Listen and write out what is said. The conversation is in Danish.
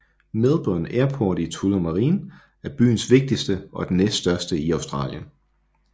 Melbourne Airport i Tullamarine er byens vigtigste og den næststørste i Australien